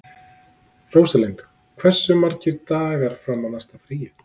Róslinda, hversu margir dagar fram að næsta fríi?